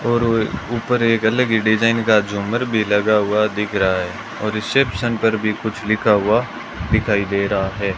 और ऊपर एक अलग ही डिजाइन का झूमर भी लगा हुआ दिख रहा है और रिसेप्शन पर भी कुछ लिखा हुआ दिखाई दे रहा है।